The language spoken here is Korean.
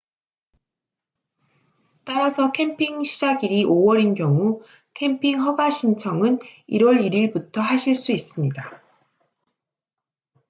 따라서 캠핑 시작일이 5월인 경우 캠핑 허가 신청은 1월 1일부터 하실 수 있습니다